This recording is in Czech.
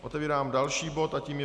Otevírám další bod a tím je